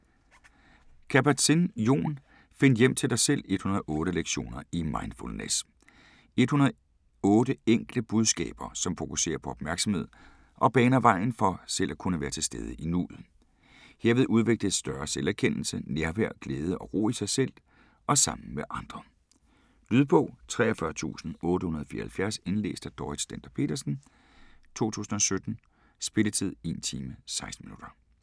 Kabat-Zinn, Jon: Find hjem til dig selv: 108 lektioner i mindfulness 108 enkle budskaber, som fokuserer på opmærksomhed og baner vejen for at kunne være til stede i nuet. Herved udvikles større selverkendelse, nærvær, glæde og ro i sig selv og sammen med andre. Lydbog 43874 Indlæst af Dorrit Stender-Petersen, 2017. Spilletid: 1 time, 16 minutter.